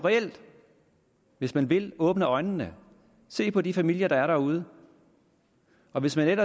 hvis man vil åbne øjnene og se på de familier der er derude og hvis man